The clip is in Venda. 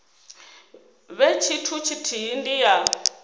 vhe tshithu tshithihi ndi ya